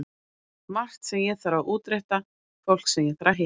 Margt sem ég þarf að útrétta, fólk sem ég þarf að hitta.